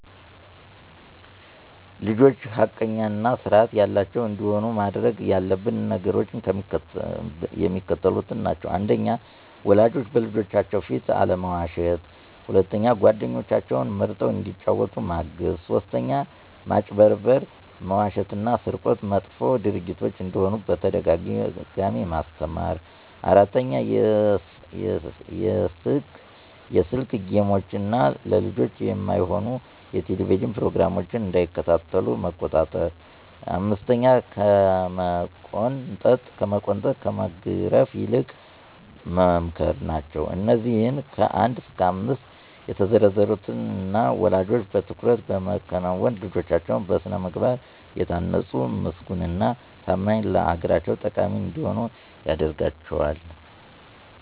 ልጆች ሐቀኛ እና ስርአት ያላቸዉ እንዲሆኑ ማድረግ ያለብን ነገሮች የሚከተሉት ናቸዉ። 1. ወላጆች በልጆቻችን ፊት አለመዋሸት 2. ጓደኞችን መርጠዉ እንዲጫወቱ ማገዝ 3. ማጭበርበር፣ መዋሸት እና ስርቆት መጥፎ ድርጊቶች እንደሆኑ በተደጋጋሚ ማስተማር 4. የስክ ጌሞችን እና ለልጆች የማይሆኑ የቴሌቭዥን ፕሮግራሞች እንዳይከታተሉ መቆጣጠር 5ከመቆንጠጥ ከመግረፍ ይልቅ መምከር ናቸዉ። አነዚህ ከ1 እስከ 5 የተዘረዘሩትን እኛ ወለጆች በትኩረት በመከወን ልጆቻችን በስነ ምግባር የታነጡ ምስጉን እና ታማኝ ለአገራቸው ጠቃሚ እንዲሆኑ ያደርጋቸዋል።